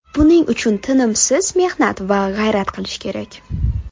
Buning uchun tinimsiz mehnat va g‘ayrat qilish kerak.